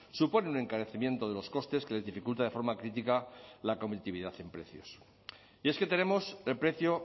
supone un encarecimiento de los costes que les dificulta de forma crítica la competitividad en precios y es que tenemos el precio